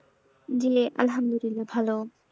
জি আলহামদুলিল্লাহ ভালো।